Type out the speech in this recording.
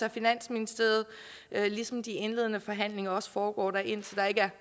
af finansministeriet ligesom de indledende forhandlinger også foregår der indtil der ikke er